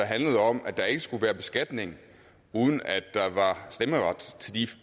handlede om at der ikke skulle være beskatning uden at der var stemmeret til de